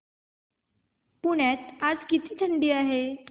पुण्यात आज किती थंडी आहे